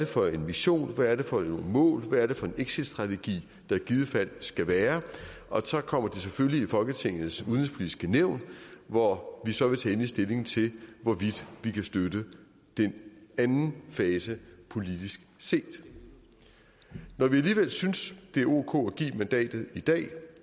for en mission hvad det er for nogle mål og hvad det er for en exitstrategi der i givet fald skal være og så kommer det selvfølgelig i folketingets udenrigspolitiske nævn hvor vi så vil tage endelig stilling til hvorvidt vi kan støtte den anden fase politisk set når vi alligevel synes det er ok at give mandatet i dag